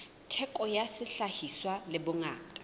theko ya sehlahiswa le bongata